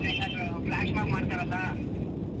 Full ಹೇಂಗಾದ್ರು flashmob ಮಾಡ್ತಾರಲ್ಲಾ.